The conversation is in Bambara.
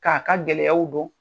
K'a ka gɛlɛyaw dɔn